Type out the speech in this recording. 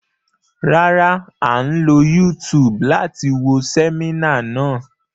Rárá, a ń lo YouTube láti wo sẹminá náà.